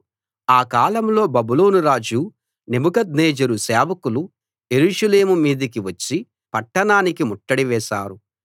ఆ కాలంలో బబులోను రాజు నెబుకద్నెజరు సేవకులు యెరూషలేము మీదికి వచ్చి పట్టణానికి ముట్టడి వేశారు